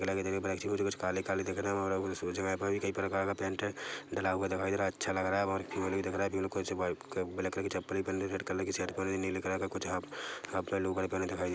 black दिख black सी कुछ काले काले दिख रहे है और उस उस जगह पे कई प्रकार का पैंट डला हुआ दिखाई दे रहा है अच्छा लग रहा है और फिर मेल भी दिखा रहा है कुछ ब्लैक कलर कि चप्पल पेहेन ली रेड कलर का शर्ट पेहेन लि नीली कलर कि कुछ हाफ हाफ पैन्ट लोअर पहने दिखाई दे --